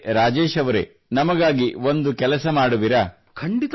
ಆದರೆ ರಾಜೇಶ್ ಅವರೆ ನಮಗಾಗಿ ಒಂದು ಕೆಲಸ ಮಾಡುವಿರಾ